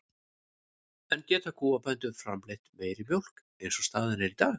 En geta kúabændur framleitt meiri mjólk eins og staðan er í dag?